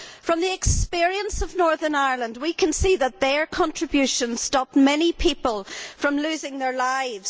From the experience of Northern Ireland, we can see that their contributions prevented many people from losing their lives